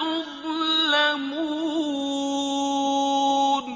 تُظْلَمُونَ